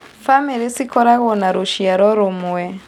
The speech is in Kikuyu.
Bamĩrĩ ciakoragwo na rũciaro rũmwe